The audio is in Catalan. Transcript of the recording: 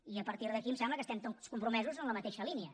i a partir d’aquí em sembla que estem tots compromesos en la mateixa línia